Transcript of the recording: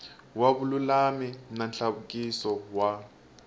wa vululami na nhluvukiso wa